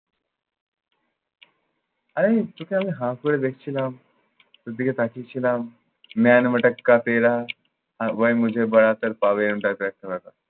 আরে আমি তোকে আমি হা করে দেখছিলাম। তোর দিকে তাকিয়েছিলাম,